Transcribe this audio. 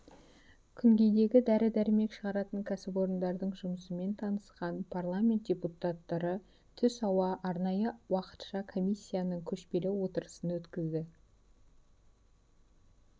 күнгейдегі дәрі-дәрмек шығаратын кәсіпорындардың жұмысымен танысқан парламент депутаттары түс ауа арнайы уақытша комиссияның көшпелі отырысын өткізді